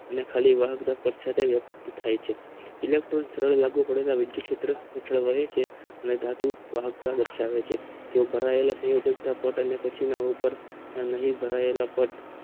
ને ખાલી વાહક માં વ્યક્ત થાય છે ઇલેટ્રોન ક્ષત્રે લાગુ પડવા વિદ્યુત ક્ષત્રે વહે છે ને ધાતુ વાહક માં દર્સાવે છે જે ભરાયેલા સંયોજકો પોતાના પછી આવતા અને નહિ ભરાયેલા ટેગ